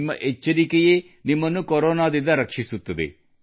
ನಿಮ್ಮ ಎಚ್ಚರಿಕೆಯೇ ನಿಮ್ಮನ್ನು ಕೊರೋನಾ ದಿಂದ ರಕ್ಷಿಸುತ್ತದೆ